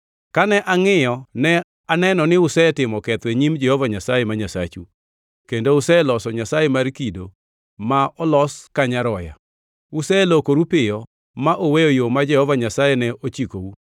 Kane angʼiyo ne aneno ni usetimo ketho e nyim Jehova Nyasaye ma Nyasachu; kendo useloso nyasaye mar kido ma olos ka nyaroya. Uselokoru piyo ma uweyo yo ma Jehova Nyasaye ne ochikou.